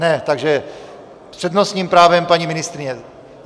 Ne, takže s přednostním právem paní ministryně.